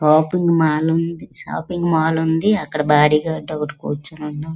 Shopping mall ఉన్నది shopping mall ఉన్నది అక్కడ బాడీగార్డ్ కూర్చొని ఉన్నాడు.